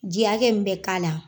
Ji hakɛ min bɛ k'a la.